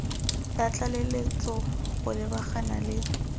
ya tlaleletso go lebagana le